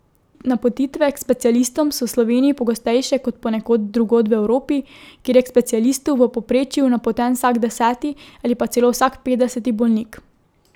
Napotitve k specialistom so v Sloveniji pogostejše kot ponekod drugod v Evropi, kjer je k specialistu v povprečju napoten vsak deseti ali pa celo vsak petdeseti bolnik.